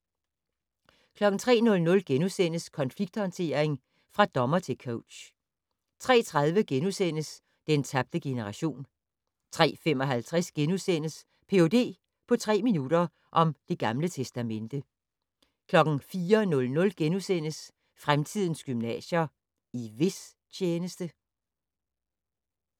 03:00: Konflikthåndtering - fra dommer til coach * 03:30: Den tabte generation * 03:55: Ph.d. på tre minutter - om Det Gamle Testamente * 04:00: Fremtidens gymnasier - i hvis tjeneste? *